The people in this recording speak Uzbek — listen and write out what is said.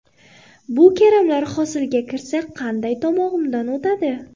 Bu karamlar hosilga kirsa, qanday tomog‘imdan o‘tadi?!